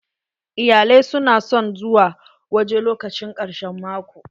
Iyalai su na son zuwa waje lokacin karshen mako.